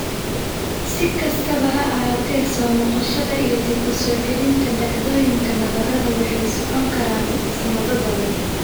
Si kastaba ha ahaatee, soo noqoshada iyo dib u soo celinta dhacdooyinka nabarrada waxay socon karaan sanado badan.